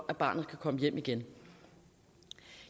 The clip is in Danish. at barnet kan komme hjem igen